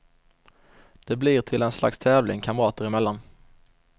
Det blir till en slags tävling, kamrater emellan.